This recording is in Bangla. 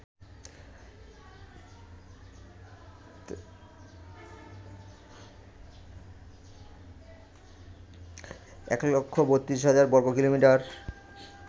১৩২০০০ বর্গকিলোমিটার